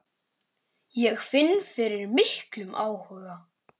Ég finn fyrir miklum áhuga.